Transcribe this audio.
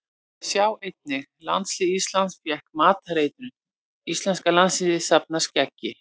Sjá einnig: Landslið Íslands fékk matareitrun Íslenska landsliðið safnar skeggi